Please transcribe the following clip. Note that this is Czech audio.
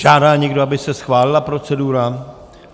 Žádá někdo, aby se schválila procedura?